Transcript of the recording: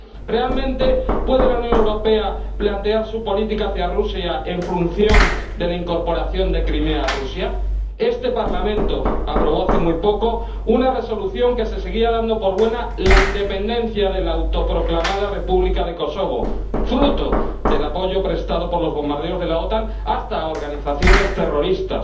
¿Realmente puede la Unión Europea plantear su política hacia Rusia en función de la incorporación de Crimea a Rusia? Este Parlamento aprobó hace muy poco una Resolución en la que se seguía dando por buena la independencia de la autoproclamada República de Kosovo, fruto del apoyo prestado por los bombardeos de la OTAN hasta a organizaciones terroristas.